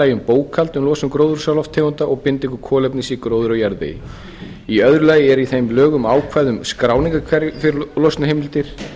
lagi um bókhald um losun gróðurhúsalofttegunda og bindingu kolefnis í gróðri og jarðvegi í öðru lagi er í þeim lögum ákvæði um skráningarkerfi fyrir losunarheimildir